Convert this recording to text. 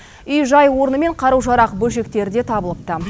үй жай орны мен қару жарақ бөлшектері де табылыпты